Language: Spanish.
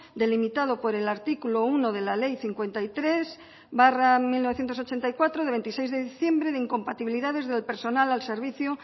delimitado por el artículo uno de la ley cincuenta y tres barra mil novecientos ochenta y cuatro de veintiséis de diciembre de incompatibilidades del personal al servicio